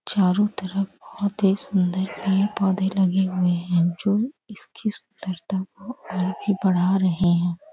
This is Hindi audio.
चारो तरफ बहुत ही सुन्दर पेड़ पौधे लगे हुए है जो इसकी सुनदरता को और भी बड़ा रहे हैं।